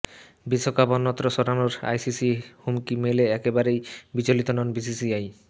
বিশ্বকাপ অন্যত্র সরানোর আইসিসির হুমকি মেলে একেবারেই বিচলতি নয় বিসিসিআই